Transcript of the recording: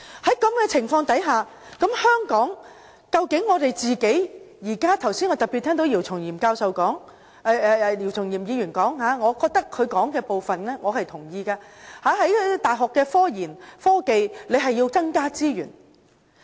在這種情況下，我剛才特別聽到姚松炎議員發言，我也認同當中部分內容，在大學科研和科技方面，政府要增加資源。